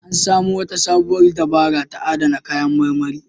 An samo wata sabuwar dabara ta adana kayan marmari.